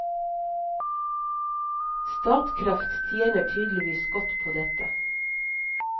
Statkraft tjener tydeligvis godt på dette.